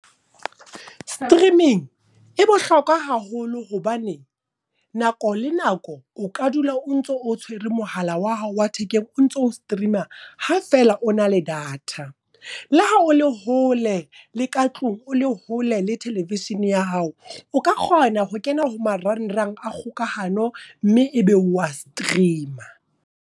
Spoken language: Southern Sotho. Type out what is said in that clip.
Streaming e bohlokwa haholo hobane, nako le nako o ka dula o ntso o tshwere mohala wa hao wa thekeng o ntso streama, ha fela o na le di data. Le ha o le hole le ka tlung, o le hole le television ya hao. O ka kgona ho kena ho marangrang a kgokahano mme ebe wa streama.